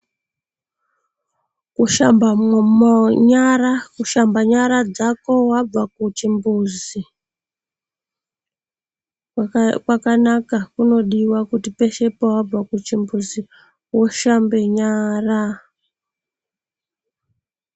Kushamba munyara, kushamba nyara dzako wabva kuchimbuzi kwakanaka, kunodiwa kuti pese pawabva kuchimbuzi woshambe nyara.